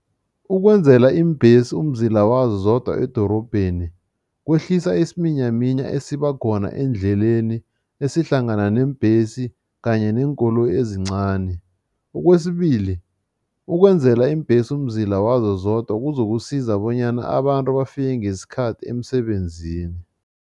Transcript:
ukwenzela iimbhesi umzila wazo zodwa edorobheni kwehlisa isiminyaminya esibakhona eendleleni esihlangana neembhesi kanye neenkoloyi ezincani. Okwesibili, ukwenzela iimbhesi umzila wazo zodwa kuzokusiza bonyana abantu bafike ngesikhathi emsebenzini.